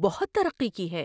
بہت ترقی کی ہے۔